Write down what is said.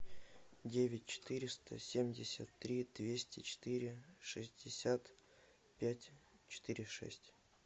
девять четыреста семьдесят три двести четыре шестьдесят пять четыре шесть